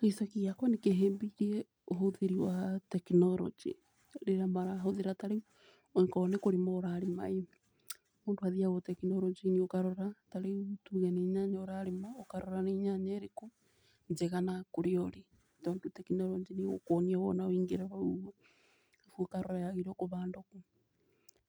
Gĩcagi gĩakwa nĩkĩhimbĩirie ũhũthĩri wa tekinoronjĩ rĩrĩa marahũthĩra tarĩu akorwo nĩ kũrima ũrarĩma ĩ, mũndũ athiaga tekinoronjĩ-inĩ ũkarora. Tarĩu tuge nĩ nyanya ũrarima ũkarora nĩ nyanya ĩrĩkũ njega na kũrĩa ũrĩ, tondũ tekinoronjĩ nĩ ĩgũkuonia wona waingĩra hau ũkarora yagirĩirwo kubandwo kũ,